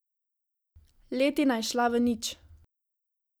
Letina je šla v nič.